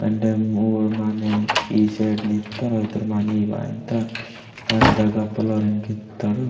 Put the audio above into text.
वेंडे मूड माने ई सड़ नित्ताड ओयतोर माने वायमुत्तोरु हरदगा फ्लोरिंग कित्ताोडु।